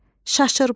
Şaşırmaq,